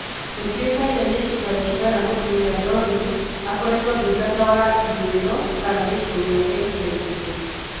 Gũtiũĩkaine nĩ cĩkaro cigana mũtumia Dorine akoretwo Ndungata wa-Ithũĩro kana gicigo gĩake icaikuhĩ.